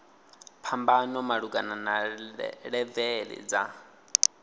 phambano malugana na levele dza